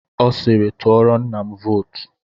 Ọ siiri, tụọrọ nna m vootu.